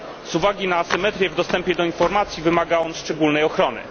Z uwagi na asymetrię w dostępie do informacji wymaga on szczególnej ochrony.